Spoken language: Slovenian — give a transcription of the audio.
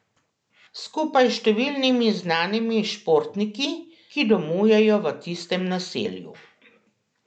Skupaj s številnimi znanimi športniki, ki domujejo v tistem naselju.